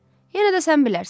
Yenə də sən bilərsən.